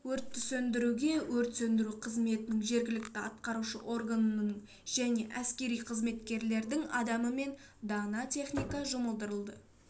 өртті сөндіруге өрт сөндіру қызметінің жергілікті атқарушы органның және әскери қызметкерлердің адамы мен дана техника жұмылдырылды